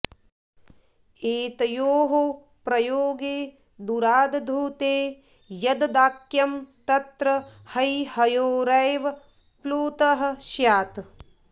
एतयोः प्रयोगे दूराद्धूते यद्वाक्यं तत्र हैहयोरेव प्लुतः स्यात्